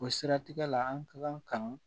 O siratigɛ la an ka kan